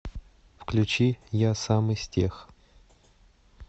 включи я сам из тех